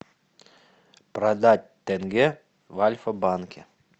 продать тенге в альфа банке